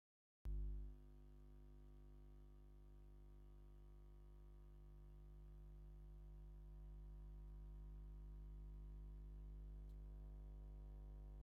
ሰለስተ ኣንስቲ ባህላዊ ኪዳን ተከዲነን ጥጠው ኢለን ኣለዋ ። እታ ኣብ ማእከል ዘላ ሰበይቲ ኣብ ርእሳ ኪሻ ተሸኪማ ኣላ ።